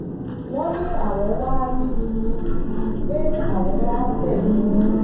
wọ́n ní àwọn wàá rí mi ni pé àwọn wàá bẹ̀ mí ni